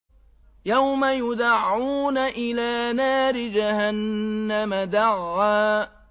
يَوْمَ يُدَعُّونَ إِلَىٰ نَارِ جَهَنَّمَ دَعًّا